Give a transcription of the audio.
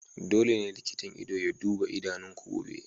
Dole ne likitan ido ya duba idanunku gobe!